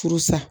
Furu sa